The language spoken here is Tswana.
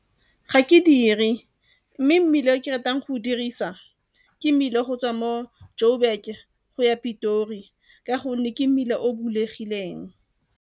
Ga ke dire, mme mmila o ke ratang go o dirisa ke mmila go tswa mo Joburg go ya Pitori ka gonne ke mmila o o bulegileng.